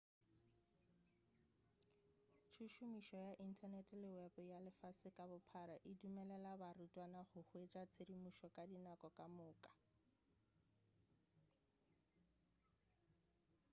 tšhomišo ya inthanete le wepo ya lefase ka bophara e dumelela barutwana go hwetša tshedimošo ka dinako ka moka.a